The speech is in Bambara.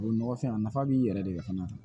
O nɔgɔ fɛn a nafa b'i yɛrɛ de la fana